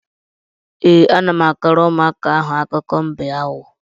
Ee, ana m akọrọ ụmụaka ahụ akụkọ mbe aghụghọ.